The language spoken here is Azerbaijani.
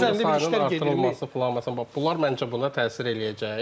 Komanda sayının artırılması filan məsələn bunlar məncə buna təsir eləyəcək.